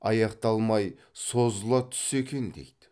аяқталмай созыла түссе екен дейді